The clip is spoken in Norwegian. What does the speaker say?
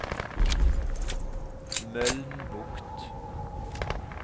Mølnbukt